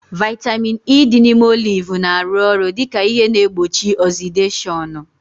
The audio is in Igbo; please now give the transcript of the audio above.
Vaitamin E dị n'ime oliv na-arụ ọrụ dịka ihe na-egbochi ọzideshọnu